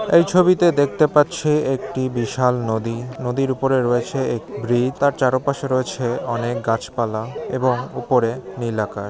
এই ছবিতে দেখতে পাচ্ছি একটি বিশাল নদী নদীর উপরে রয়েছে এক বৃ । তার চারপাশে রয়েছে অনেক গাছপালা এবং উপরে নীল আকাশ ।